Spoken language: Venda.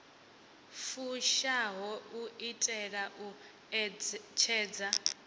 fushaho u itela u ṋetshedza